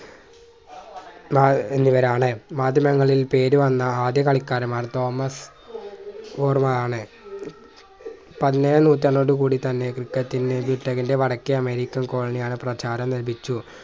ഏർ എന്നിവരാണ് മാധ്യമങ്ങളിൽ പേരുവന്ന ആദ്യ കളിക്കാരന്മാർ തോമസ് ഫോർമാ ആണ് പതിനേഴാം നൂറ്റാണ്ടോടു കൂടി തന്നെ ക്രിക്കറ്റിന് വടക്കേ അമേരിക്കൻ കോളനിയിൽ ആണ് പ്രചാരം ലഭിച്ചു